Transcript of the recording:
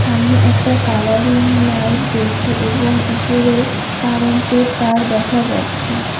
সামনে একটা colouring light জ্বলছে এবং উপরে কারেন্টের তার দেখা যাচ্ছে।